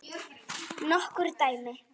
Nokkur dæmi?